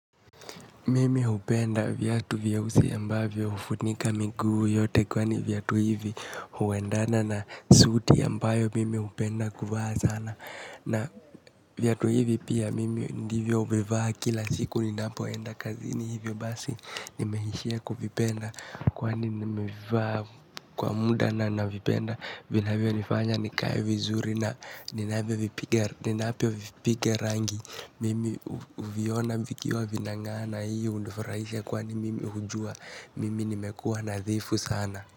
Mimi hupenda viatu vieusi ambavyo hufunika miguu yote kwani viatu hivi huwendana na, suti ambayo mimi hupenda kuvaa sana. Na, viatu hivi pia, mimi ndivyo vevaa kila siku ninapoenda kazini hivyo basi, nimehishia kuvipenda. Kwani mmevaa kwa muda na navipenda, vinavyo nifanya nikae vizuri na, ninavyo vipiga rangi. Mimi huviona vikiwa vinangaa na hiyo hunifurahisha, kwani mimi hujua mimi nimekua nadhifu sana.